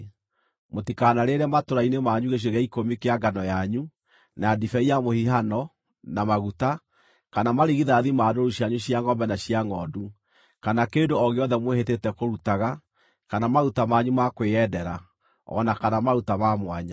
Mũtikanarĩĩre matũũra-inĩ manyu gĩcunjĩ gĩa ikũmi kĩa ngano yanyu, na ndibei ya mũhihano, na maguta, kana marigithathi ma ndũũru cianyu cia ngʼombe na cia ngʼondu, kana kĩndũ o gĩothe mwĩhĩtĩte kũrutaga, kana maruta manyu ma kwĩyendera, o na kana maruta ma mwanya.